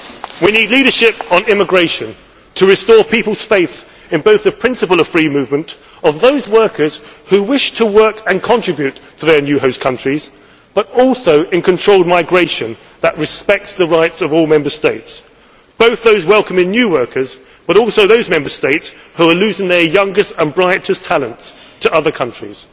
We need leadership on immigration in order to restore people's faith in both the principle of free movement of those workers who wish to work and contribute to their new host countries, as well as in controlled migration which respects the rights of all Member States both those welcoming new workers, and those Member States who are losing their youngest and brightest talents to other countries.